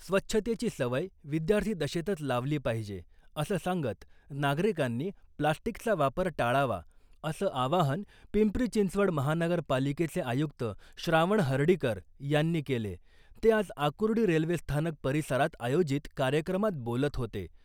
स्वच्छतेची सवय विद्यार्थी दशेतच लावली पाहिजे असं सांगत नागरिकांनी प्लास्टिकचा वापर टाळावा , असं आवाहन पिंपरी चिंचवड महानगर पालिकेचे आयुक्त श्रावण हर्डीकर यांनी केले , ते आज आकुर्डी रेल्वे स्थानक परिसरात आयोजित कार्यक्रमात बोलत होते .